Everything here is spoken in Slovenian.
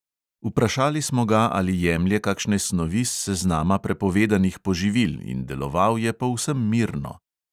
Vprašali smo ga, ali jemlje kakšne snovi s seznama prepovedanih poživil, in deloval je povsem mirno.